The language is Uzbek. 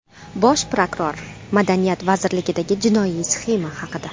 Bosh prokuror Madaniyat vazirligidagi jinoiy sxema haqida.